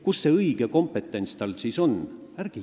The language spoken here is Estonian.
Kus see õige kompetents tal siis on?